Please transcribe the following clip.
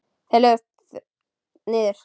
Þar lögðust þeir niður.